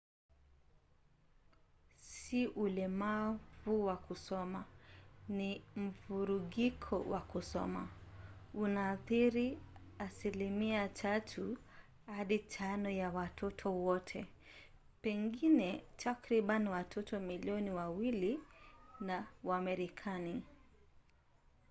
si ulemavu wa kusoma ni mvurugiko wa kusoma; unaathiri asilimia 3 hadi 5 ya watoto wote pengine takriban watoto milioni 2 wa marekani